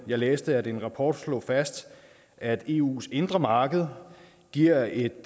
jeg læste at en rapport slog fast at eus indre marked giver et